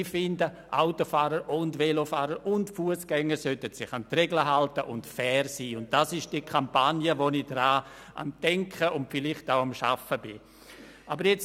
Ich finde, Autofahrer, Velofahrer und Fussgänger sollten sich an die Regeln halten und fair sein, und das ist die Kampagne, an die ich denke und an der ich vielleicht auch arbeiten werde.